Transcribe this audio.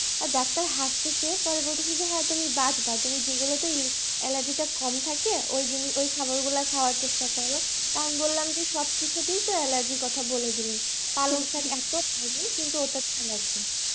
doctor হাসিতেছে পরে বলতেছে হ্যাঁ তুমি বাঁচবা তুমি যেগুলোতে এলে allergy টা কম থাকে ওই খাবারগুলো খাওয়ার চেষ্টা ছাড়ো তো আমি বললাম যে সবকিছুতেই তো allergy র কথা বলে দিলেন পালং শাক এত খাই আমি কিন্তু ওটাতে allergy